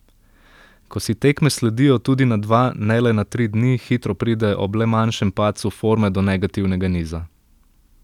Ko si tekme sledijo tudi na dva ne le na tri dni, hitro pride ob le manjšem padcu forme do negativnega niza.